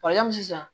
sisan